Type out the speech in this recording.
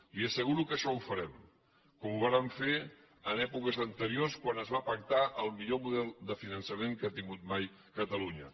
li asseguro que això ho farem com ho vàrem fer en èpoques anteriors quan es va pactar el millor model de finançament que ha tingut mai catalunya